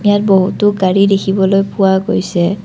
ইয়াত বহুতো গাড়ী দেখিবলৈ পোৱা গৈছে।